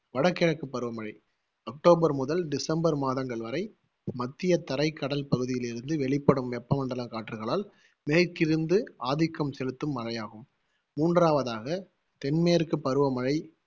வடகிழக்கு பருவமழை அக்டோபர் முதல் டிசம்பர் மாதங்கள் வரை மத்தியதரைக் கடல் பகுதியிலிருந்து வெளிப்படும் வெப்பமண்டலக் காற்றுகளால் மேற்கிருந்து ஆதிக்கம் செலுத்தும் மழையாகும் மூன்றாவதாக தென்மேற்கு பருவமழை